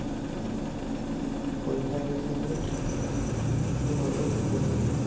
পৰীক্ষা আহি আছে যে, তাকে ভাৱি আছো, পঢ়িম